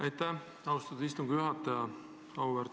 Aitäh, austatud istungi juhataja!